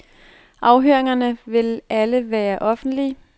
Afhøringerne vil alle være offentlige.